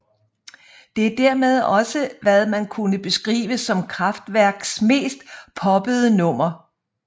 Det er dermed også hvad man kunne beskrive som Kraftwerks mest poppede nummer